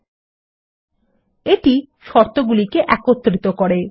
এবং এটি শর্তগুলিকে একত্রিত করে